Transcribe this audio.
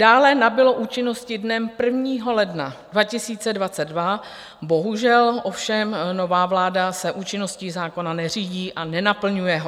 Dále nabylo účinnosti dnem 1. ledna 2022, bohužel ovšem nová vláda se účinností zákona neřídí a nenaplňuje ho.